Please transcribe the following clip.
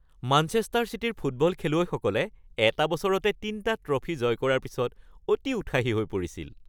Manchester চিটিৰ football খেলুৱৈসকলে এটা বছৰতে ৩টা ট্ৰফী জয় কৰাৰ পিছত অতি উৎসাহী হৈ পৰিছিল।